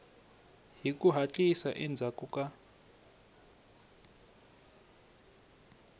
hi ku hatlisa endzhaku ka